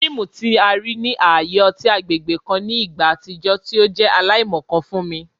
Fiimu ti a rii ni aaye ọti agbegbe kan ni igba atijọ ti o jẹ alaimọkan fun mi